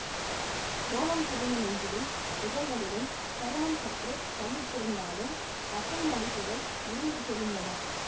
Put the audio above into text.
ரோமம் செறிந்த நெஞ்சிலும் புஜங்களிலும் சருமம் சற்று தளர்ந்திருந்தாலும் தசை மடிப்புக்கள் உருண்டு தெரிந்தன